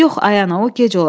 Yox, ay ana, o gec olar.